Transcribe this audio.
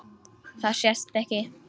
Það sést ekki.